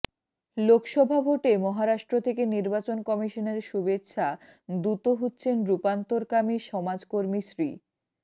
লোকসভা ভোটে মহারাষ্ট্র থেকে নির্বাচন কমিশনের শুভেচ্ছা দূত হচ্ছেন রূপান্তরকামী সমাজকর্মী শ্রী